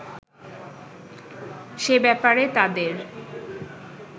সে ব্যাপারে তাদের